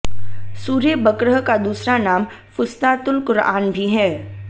सूरे बक़रह का दूसरा नाम फ़ुस्तातुल क़ुरआन भी है